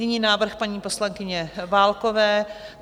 Nyní návrh paní poslankyně Válkové.